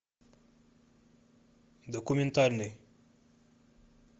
документальный